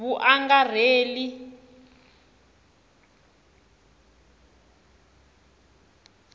vuangarheli